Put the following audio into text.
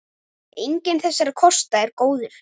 Enginn þessara kosta er góður.